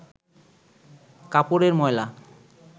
কাপড়ের ময়লা